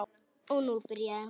Og nú byrjaði hún.